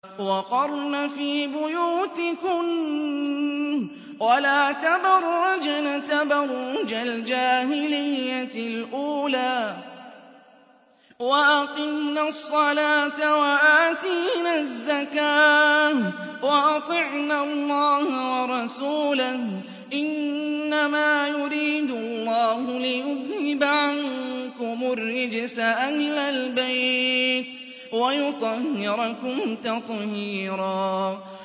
وَقَرْنَ فِي بُيُوتِكُنَّ وَلَا تَبَرَّجْنَ تَبَرُّجَ الْجَاهِلِيَّةِ الْأُولَىٰ ۖ وَأَقِمْنَ الصَّلَاةَ وَآتِينَ الزَّكَاةَ وَأَطِعْنَ اللَّهَ وَرَسُولَهُ ۚ إِنَّمَا يُرِيدُ اللَّهُ لِيُذْهِبَ عَنكُمُ الرِّجْسَ أَهْلَ الْبَيْتِ وَيُطَهِّرَكُمْ تَطْهِيرًا